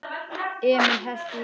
Emil hellti í glösin þeirra.